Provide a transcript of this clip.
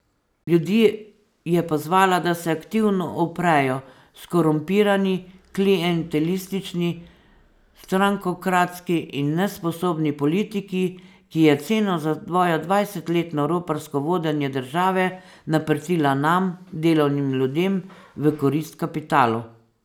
Ljudi je pozvala, da se aktivno uprejo skorumpirani, klientelistični, strankokratski in nesposobni politiki, ki je ceno za svojo dvajsetletno roparsko vodenje države naprtila nam, delovnim ljudem, v korist kapitalu.